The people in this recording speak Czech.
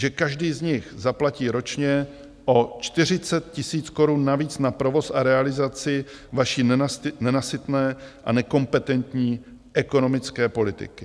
Že každý z nich zaplatí ročně o 40 tisíc korun navíc na provoz a realizaci vaší nenasytné a nekompetentní ekonomické politiky.